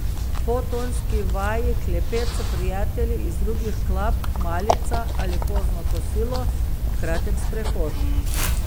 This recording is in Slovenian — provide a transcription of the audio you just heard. Po tonski vaji klepet s prijatelji iz drugih klap, malica ali pozno kosilo, kratek sprehod.